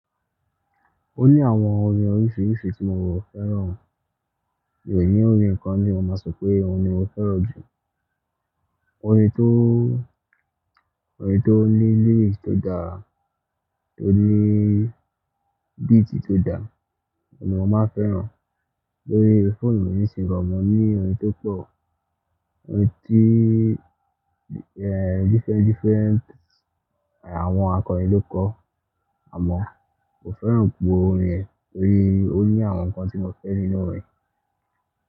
Ó ní àwọn orin oríṣiríṣi tí mo wò fẹ́ràn, mì í ní orin kan tí mo máa sọ pé òun ni mo fẹ́ràn jù. Orin tó, orin tó ní lyrics tó dá, tó ní beat tó dá, òun ni mo máa fẹ́ràn. Lórí fóònù mi nísinsìnyí mo ní orin tó pọ̀, orin tí ehen different, different àwọn akọrin ló kọ. Àmọ́ kò fẹ́ràn gbogbo orin rẹ̀ torí ó ní àwọn nǹkan tí mo fẹ́ nínú orin.